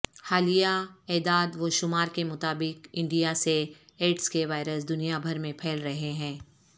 حالیہ اعدادوشمار کے مطابق انڈیا سے ایڈز کے وائرس دنیا بھر میں پھیل رہے ہیں